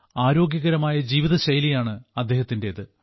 ആരോഗ്യകരമായ ജീവിതശൈലിയാണ് അദ്ദേഹത്തിന്റേത്